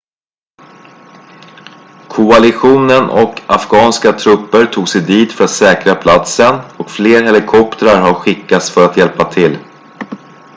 koalitionen och afghanska trupper tog sig dit för att säkra platsen och fler helikoptrar har skickats för att hjälpa till